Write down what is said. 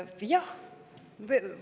Jah.